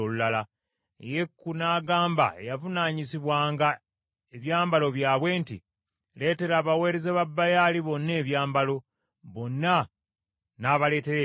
Yeeku n’agamba eyavunaanyizibwanga ebyambalo byabwe nti, “Leetera abaweereza ba Baali bonna ebyambalo.” Bonna n’abaleetera ebyambalo.